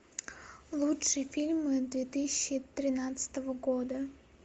лучшие фильмы две тысячи тринадцатого года